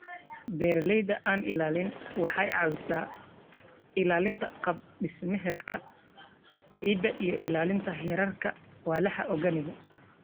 Beeralayda aan-ilaalin waxay caawisaa ilaalinta qaab-dhismeedka ciidda iyo ilaalinta heerarka walxaha organic.